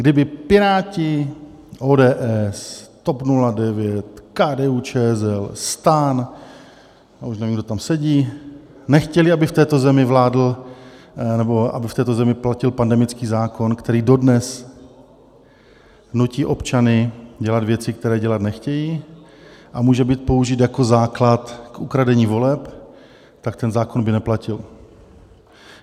Kdyby Piráti, ODS, TOP 09, KDU-ČSL, STAN, a už nevím, kdo tam sedí, nechtěli, aby v této zemi vládl nebo aby v této zemi platil pandemický zákon, který dodnes nutí občany dělat věci, které dělat nechtějí, a může být použit jako základ k ukradení voleb, tak ten zákon by neplatil.